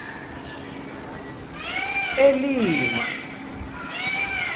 elima